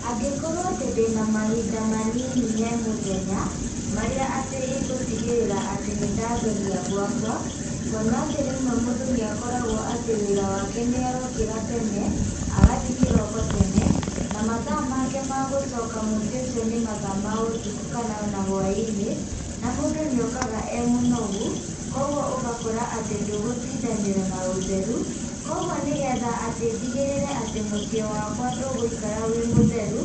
Angĩkorwo atĩ ndĩna mahinda manini he mũthenya, marĩa atĩ igũtigĩrĩra atĩ nĩndatheria gwakwa, kuona atĩ rĩmwe mũndũ nĩakoragwo atĩ wĩra wake nĩarokĩra tene, agathiĩ kĩroko tene, na mathaa make magũcoka mũciĩ ũcio nĩ mathaa ma ũtukũ kana ona hwainĩ, na mũndũ nĩ okaga e mũnogu, koguo ũgakora atĩ ndũgũtindanĩra na ũtheru, koguo nĩgetha atĩ ndigĩrĩre atĩ mũciĩ wakwa ndũgũikara wĩ mũtheru,